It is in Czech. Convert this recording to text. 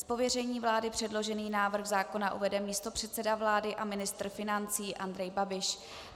Z pověření vlády předložený návrh zákona uvede místopředseda vlády a ministr financí Andrej Babiš.